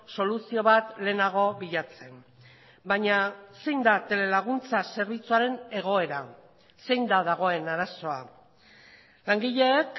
soluzio bat lehenago bilatzen baina zein da telelaguntza zerbitzuaren egoera zein da dagoen arazoa langileek